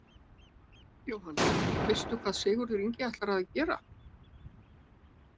Jóhann: Veistu hvað Sigurður Ingi ætlar að gera?